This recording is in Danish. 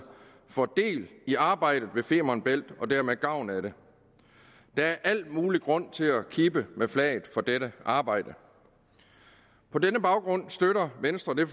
får del i arbejdet med femern bælt og dermed gavn af det der er al mulig grund til at kippe med flaget for dette arbejde på denne baggrund støtter venstre det